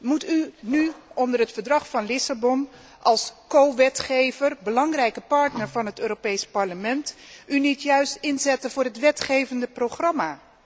Moet u zich nu, onder het Verdrag van Lissabon als medewetgever een belangrijke partner van het Europees Parlement, niet juist inzetten voor het wetgevende programma?